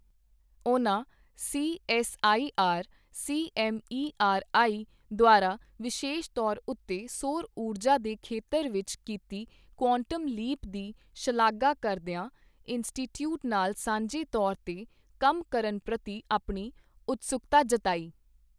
ਉਨ੍ਹਾਂ C S I R, C M E R I ਦੁਆਰਾ ਵਿਸ਼ੇਸ਼ ਤੌਰ ਉੱਤੇ ਸੌਰ ਊਰਜਾ ਦੇ ਖੇਤਰ ਵਿੱਚ ਕੀਤੀ ਕੁਆਂਟਮ ਲੀਪ ਦੀ ਸ਼ਲਾਘਾ ਕਰਦੀਆਂ ਇੰਸਟੀਟਿਊਟ ਨਾਲ ਸਾਂਝੇ ਤੌਰ ਤੇ ਕੰਮ ਕਰਨ ਪ੍ਰਤੀ ਅਪਣੀ ਉਤਸੁਕਤਾ ਜਤਾਈ।